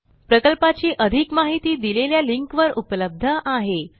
11010 26 प्रकल्पाची अधिक माहिती दिलेल्या लिंकवर उपलब्ध आहे